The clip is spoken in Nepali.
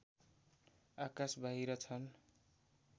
आकास बाहिर छन्